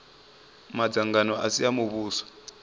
madzangano a si a muvhuso